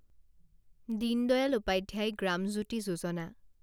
Deen Dayal Upadhyay Gram Jyoti Yojana